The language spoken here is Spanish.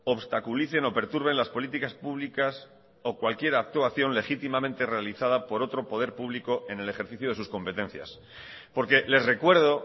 obstaculicen o perturben las políticas públicas o cualquier actuación legítimamente realizada por otro poder público en el ejercicio de sus competencias porque les recuerdo